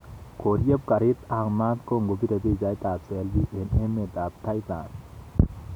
Koryeb karitab maat kongobire pichait ab selfi eng emet ab Thailand